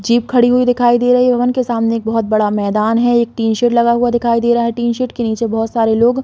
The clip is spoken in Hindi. जीप खड़ी हुई दिखाई दे रही है उनके सामने एक बहुत बड़ा मैदान है एक टीन _शेड लगा हुआ दिखाई दे रहा है टीन _शेड के नीचे बहुत सारे लोग --